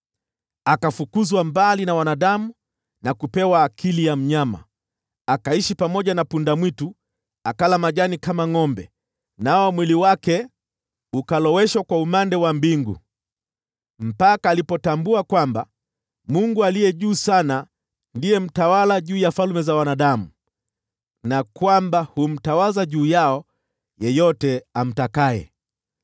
Akafukuzwa mbali na wanadamu na kupewa akili ya mnyama, akaishi pamoja na punda-mwitu, akala majani kama ngʼombe, nao mwili wake ukaloweshwa kwa umande wa mbingu, mpaka alipotambua kwamba Mungu Aliye Juu Sana ndiye mtawala juu ya falme za wanadamu na kwamba humtawaza juu yao yeyote amtakaye.